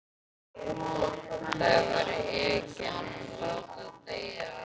Þau væru yfirgefin og látin deyja alein.